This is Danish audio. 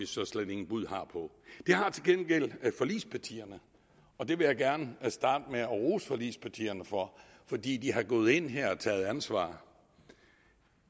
så slet ingen bud har på det har til gengæld forligspartierne og det vil jeg gerne starte med at rose forligspartierne for for de er gået ind her og har taget ansvar